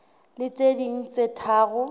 le tse ding tse tharo